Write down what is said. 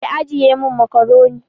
Ki ajiye min macaroni